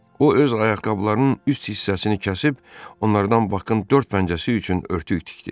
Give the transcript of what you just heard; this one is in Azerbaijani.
O öz ayaqqabılarının üst hissəsini kəsib onlardan Bakın dörd pəncəsi üçün örtük tikdi.